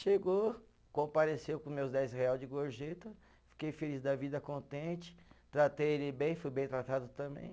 Chegou, compareceu com meus dez real de gorjeta, fiquei feliz da vida, contente, tratei ele bem, fui bem tratado também.